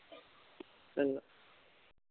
ਚੰਗਾ